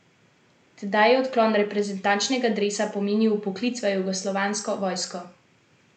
Tedaj je odklon reprezentančnega dresa pomenil vpoklic v jugoslovansko vojsko...